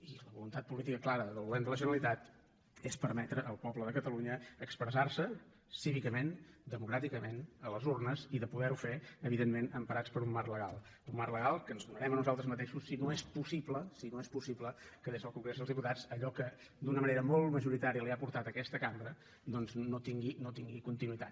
i la voluntat política clara del govern de la generalitat és permetre al poble de catalunya expressar se cívicament democràticament a les urnes i de poder ho fer evidentment emparats per un marc legal un marc legal que ens donarem a nosaltres mateixos si no és possible si no és possible que des del congrés dels diputats allò que d’una manera molt majoritària li ha portat aquesta cambra tingui continuïtat